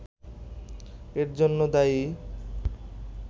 এর জন্য দায়ী